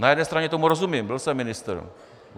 Na jedné straně tomu rozumím, byl jsem ministr.